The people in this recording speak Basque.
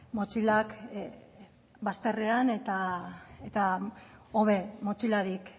motxilak bazterrean eta hobe motxilarik